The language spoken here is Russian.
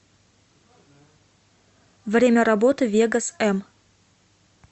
время работы вегос м